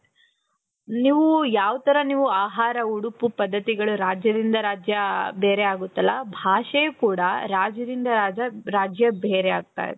ನೀವು ಯಾವ ತರ ನೀವು ಆಹಾರ ಉಡುಪು ಪದ್ಧತಿಗಳು ರಾಜ್ಯದಿಂದ ರಾಜ್ಯ ಬೇರೆ ಆಗುತ್ತಲ್ಲ ಮಾತು ಭಾಷೆ ಕೂಡ ರಾಜ್ಯದಿಂದ ರಾಜ್ಯ ಬೇರೆ ಆಗ್ತಾ ಇದೆ .